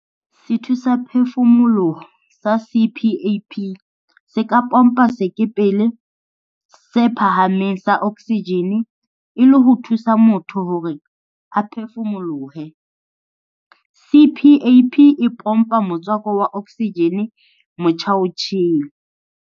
Sethusaphefumoloho sa CPAP se ka pompa sekepele se phahameng sa oksijene e le ho thusa motho hore a phefumolohe. CPAP e pompa motswako wa oksijene motjhaotjhele.